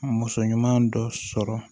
Muso ɲuman dɔ sɔrɔ